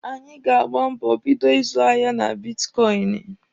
Anyị ga-agba mbọ bido ịzụ ahịa na bitkọịnị.